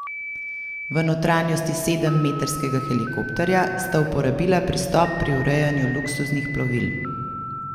V notranjosti sedemmetrskega helikopterja sta uporabila pristop pri urejanju luksuznih plovil.